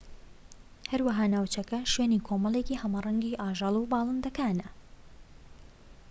هەروەها ناوچەکە شوێنی کۆمەڵێکی هەمەرەنگی ئاژەڵ و باڵندەکانە